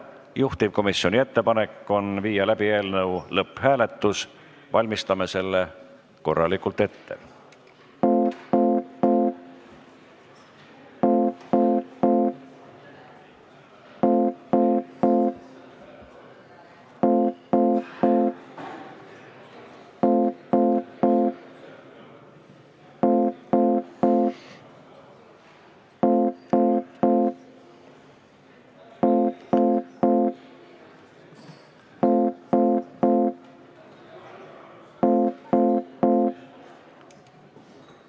Juhtivkomisjoni ettepanek on viia läbi eelnõu lõpphääletus, valmistame selle korralikult ette.